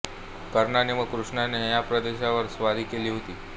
कर्णाने व कृष्णाने या प्रदेशावर स्वारी केली होती